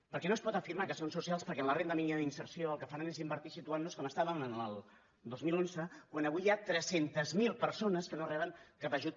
perquè no es pot afirmar que són socials perquè en la renda mínima d’inserció el que faran és invertir situant nos com estàvem el dos mil onze quan avui hi ha tres cents miler persones que no reben cap ajut